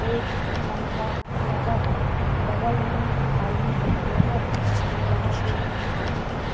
एक खंभा लगा है बगल में खाली जगह है जहां पे घासे हैं --